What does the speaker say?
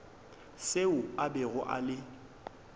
seo a bego a le